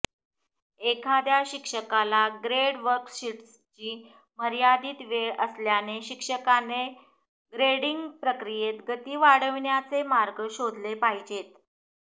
एखाद्या शिक्षकाला ग्रेड वर्कशीट्सची मर्यादित वेळ असल्याने शिक्षकाने ग्रेडिंग प्रक्रियेत गती वाढविण्याचे मार्ग शोधले पाहिजेत